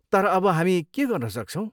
तर अब हामी के गर्न सक्छौँ?